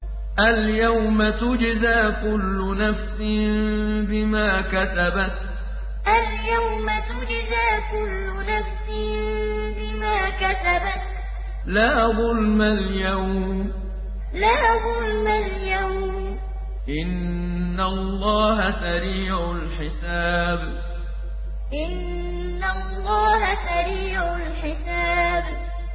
الْيَوْمَ تُجْزَىٰ كُلُّ نَفْسٍ بِمَا كَسَبَتْ ۚ لَا ظُلْمَ الْيَوْمَ ۚ إِنَّ اللَّهَ سَرِيعُ الْحِسَابِ الْيَوْمَ تُجْزَىٰ كُلُّ نَفْسٍ بِمَا كَسَبَتْ ۚ لَا ظُلْمَ الْيَوْمَ ۚ إِنَّ اللَّهَ سَرِيعُ الْحِسَابِ